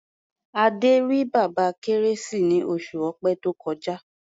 Adé rí Bàbá Kérésì ní oṣù Ọ̀pẹ tó kọjá.